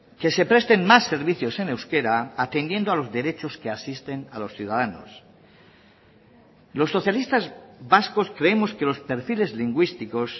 que se presten más servicios en euskera atendiendo a los derechos que asisten a los ciudadanos los socialistas vascos creemos que los perfiles lingüísticos